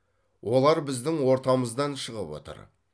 олар біздің ортамыздан шығып отыр